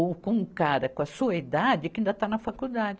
Ou com um cara com a sua idade que ainda está na faculdade.